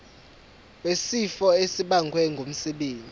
wesifo esibagwe ngumsebenzi